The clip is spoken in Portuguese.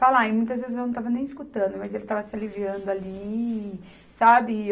Falar, e muitas vezes eu não estava nem escutando, mas ele estava se aliviando ali, sabe?